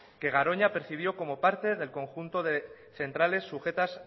que garoña percibió como parte del conjunto de centrales sujetas